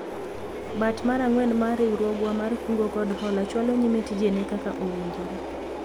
bat mar ang'wen mar riwruogwa mar kungo kod hola chwalo nyime tijene kaka owinjore